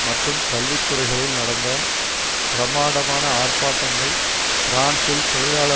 மற்றும் கல்வி துறைகளில் நடந்த பிரம்மாண்டமான ஆர்பாட்டங்கள் பிரான்சில் தொழிலாள